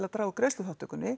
draga úr